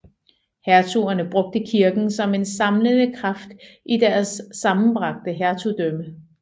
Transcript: Hertugerne brugte kirken som en samlende kraft i deres sammenbragte hertugdømme